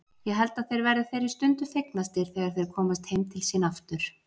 Ég held að þeir verði þeirri stundu fegnastir þegar þeir komast heim til sín aftur.